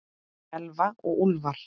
Elfa og Úlfar.